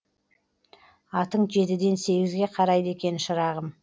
атың жетіден сегізге қарайды екен шырағым